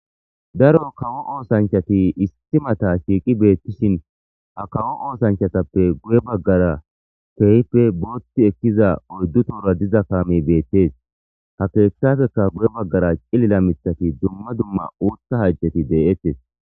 Daro kawo oosanchati issi mata shiiqqi beettishin ha kawo oosanchatappe guye baggara keehippe bootti ekkiza oyddu tohora diza kaamey beettes ha keeththatappekka guye baggara cilila miiththatti dumma dumma uuththa hayththeti de'ettes